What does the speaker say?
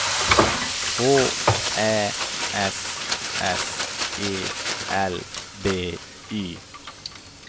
H Ä S S E L B Y